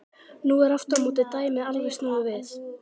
Nú er aftur á móti dæmið alveg snúið við.